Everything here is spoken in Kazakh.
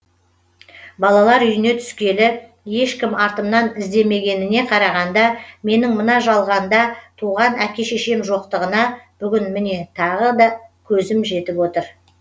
балалар үйіне түскелі ешкім артымнан іздемегеніне қарағанда менің мына жалғанда туған әке шешем жоқтығына бүгін міне тағы да көзім жетіп отыр